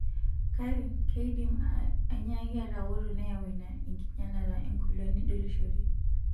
Kake, keidim anyaaki atawoto neyau ina enkinyalata engolon nidolishore.